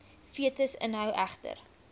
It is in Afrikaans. fetus inhou erger